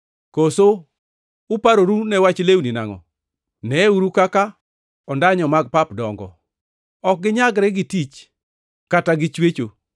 “Koso uparoru ne wach lewni nangʼo? Neyeuru kaka ondanyo mag pap dongo. Ok ginyagre gi tich kata gi chwecho.